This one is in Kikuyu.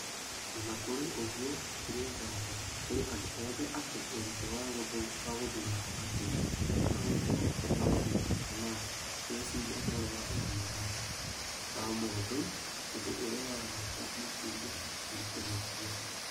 O na kũrĩ ouguo, hatirĩ nganja, kũrĩ andũ othe atĩ ũritũ wa gũthura gatagatĩ ka gũcokia maũndũ kana gũĩciria ũhoro wa ũgima wa mũndũ, ũndũ ũrĩa wa bata makĩria ũritũ gũtua.